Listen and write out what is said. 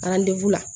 la